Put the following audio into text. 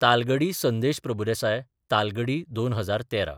तालगडी संदेश प्रभुदेसाय तालगडी: 2013